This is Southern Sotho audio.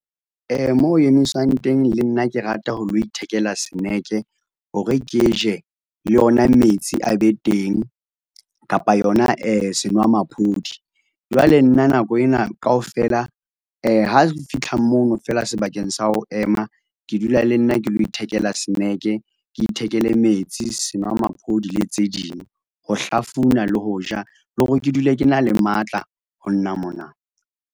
Mo emiswang teng le nna ke rata ho lo ithekela snack-e hore ke je le ona metsi a be teng kapa yona senwamaphodi. Jwale nna nako ena kaofela ha re fitlha mono feela sebakeng sa ho ema ke dula le nna ke lo ithekela snack-e, ke ithekele metsi, senwamaphodi le tse ding, ho hlafuna le ho ja le hore ke dule ke na le matla ho nna mona.